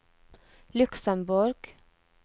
Luxemborg